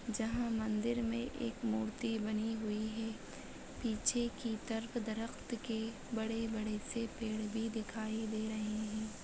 जहां मंदिर में एक मूर्ति बनि हुई है। पीछे की तरफ दरक्त के बड़े-बड़े से पेड़ भी दिखाई दे रहे है।